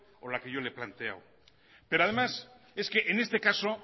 o la que yo le he planteado pero además es que en este caso